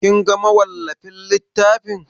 Kin ga mawallafin littafin?